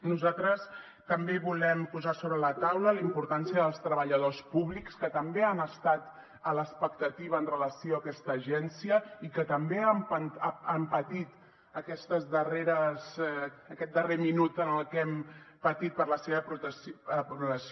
nosaltres també volem posar sobre la taula la importància dels treballadors públics que també han estat a l’expectativa amb relació a aquesta agència i que també han patit aquest darrer minut en què hem patit per la seva aprovació